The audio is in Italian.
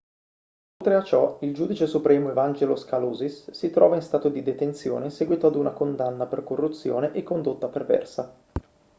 oltre a ciò il giudice supremo evangelos kalousis si trova in stato di detenzione in seguito ad una condanna per corruzione e condotta perversa